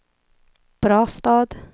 Brastad